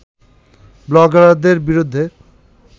ব্লগারদের বিরুদ্ধে